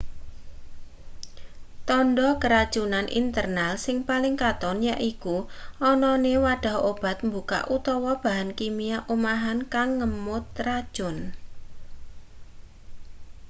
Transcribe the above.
tandha keracunan internal sing paling katon yaiku anane wadhah obat mbukak utawa bahan kimia omahan kang ngemot racun